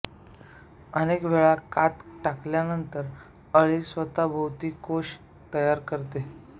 अनेक वेळा कात टाकल्यानंतर अळी स्वतःभोवती कोश तयार करते